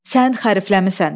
"Sən xərifləmisən.